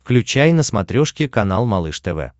включай на смотрешке канал малыш тв